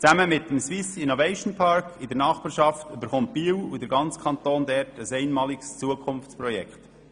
Zusammen mit dem «Swiss Innovation Park» in der Nachbarschaft erhält Biel und der ganze Kanton ein einmaliges Zukunftsprojekt.